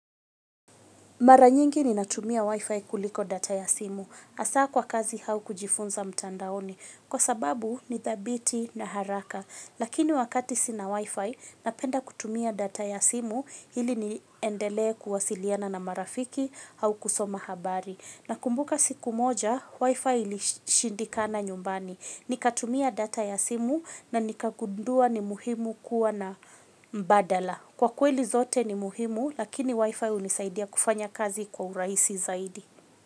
Maranyingi ni natumia wifi kuliko data ya simu. Asaa kwa kazi hau kujifunza mtandaoni. Kwa sababu ni thabiti na haraka. Lakini wakati sina wifi napenda kutumia data ya simu hili niendele kuwasiliana na marafiki hau kusoma habari. Na kumbuka siku moja, wifi ilishindika na nyumbani. Nikatumia data ya simu na nikagundua ni muhimu kuwa na mbadala. Kwa kweli zote ni muhimu, lakini wifi hunisaidia kufanya kazi kwa uraisi zaidi.